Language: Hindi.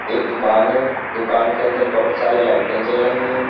एक दुकान है दुकान के अंदर बहुत सारी लाइटें जल रही हैं।